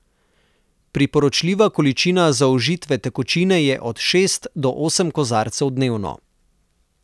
Priporočljiva količina zaužite tekočine je od šest do osem kozarcev dnevno.